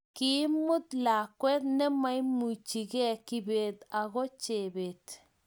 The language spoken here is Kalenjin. Kimuut lakwet nemaimuchige kibet ago chebet